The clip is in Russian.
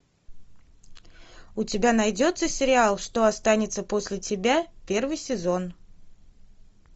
у тебя найдется сериал что останется после тебя первый сезон